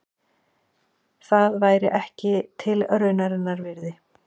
Það væri ekki tilraunarinnar virði.